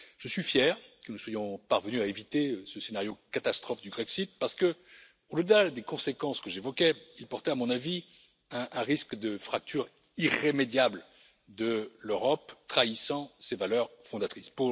Je suis fier que nous soyons parvenus à éviter ce scénario catastrophe du Grexit parce qu'au delà des conséquences que j'évoquais, il portait à mon avis un risque de fracture irrémédiable de l'Europe trahissant ses valeurs fondatrices.